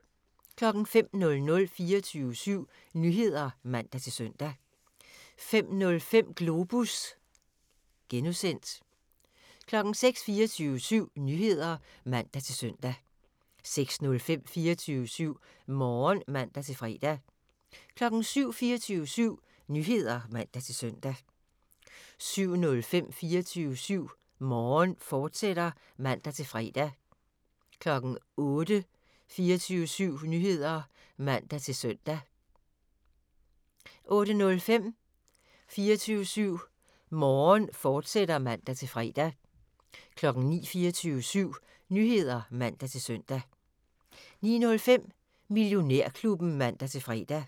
05:00: 24syv Nyheder (man-søn) 05:05: Globus (G) 06:00: 24syv Nyheder (man-søn) 06:05: 24syv Morgen (man-fre) 07:00: 24syv Nyheder (man-søn) 07:05: 24syv Morgen, fortsat (man-fre) 08:00: 24syv Nyheder (man-søn) 08:05: 24syv Morgen, fortsat (man-fre) 09:00: 24syv Nyheder (man-søn) 09:05: Millionærklubben (man-fre)